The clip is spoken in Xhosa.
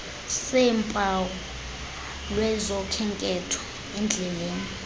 seempawu lwezokhenketho endleleleni